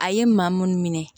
A ye maa minnu minɛ